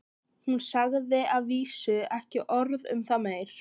Hún sagði að vísu ekki orð um það meir.